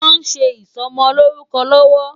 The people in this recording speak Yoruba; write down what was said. Wòn sé isòmòlórúkò lòwò